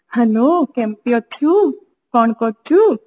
hello କେମିତି ଅଛୁ କଣ କରୁଛୁ